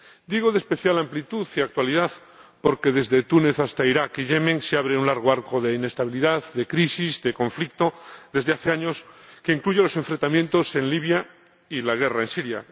Digo de especial amplitud y actualidad porque desde Túnez hasta Irak y Yemen se abre un largo arco de inestabilidad, de crisis, de conflicto desde hace años, que incluye los enfrentamientos en Libia y la guerra en Siria.